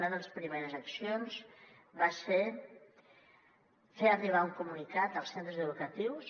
una de les primeres accions va ser fer arribar un comunicat als centres educatius